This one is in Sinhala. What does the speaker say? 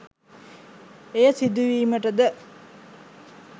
එය සිදුවීමටද